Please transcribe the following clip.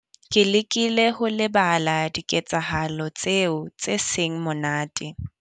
Ke lekile ho lebala diketsahalo tseo tse seng monate.